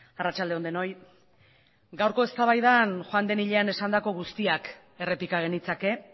arratsalde on denoi gaurko eztabaidan joan den hilean esandako guztiak errepika genitzake